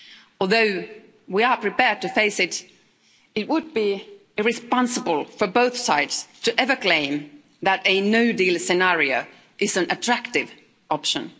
Although we are prepared to face it, it would be irresponsible for both sides to ever claim that a no-deal scenario is an attractive option.